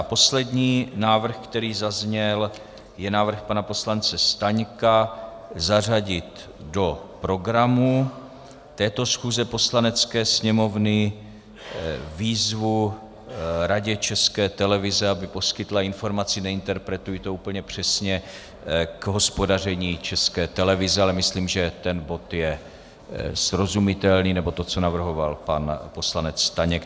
A poslední návrh, který zazněl, je návrh pana poslance Staňka zařadit do programu této schůze Poslanecké sněmovny výzvu Radě České televize, aby poskytla informaci - neinterpretuji to úplně přesně - k hospodaření České televize, ale myslím, že ten bod je srozumitelný, nebo to, co navrhoval pan poslanec Staněk.